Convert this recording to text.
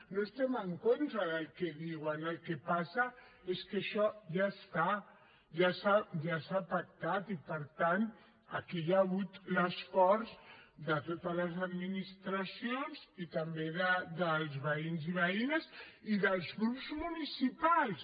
no estem en contra del que diuen el que passa és que això ja està ja s’ha pactat i per tant aquí hi ha hagut l’esforç de totes les administracions i també dels veïns i veïnes i dels grups municipals